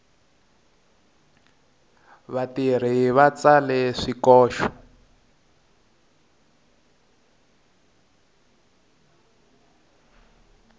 vatirhi va tsale swikoxo